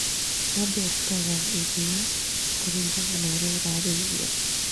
Ng'ombe ĩ rutaga iria kũringana na ũrĩa ĩrarĩ ithio.